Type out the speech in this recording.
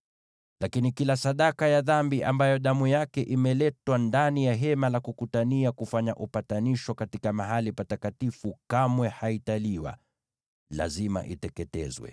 Lakini kila sadaka ya dhambi ambayo damu yake imeletwa ndani ya Hema la Kukutania kufanya upatanisho katika Mahali Patakatifu kamwe haitaliwa; lazima iteketezwe.